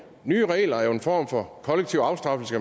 nye regler er jo en form for kollektiv afstraffelse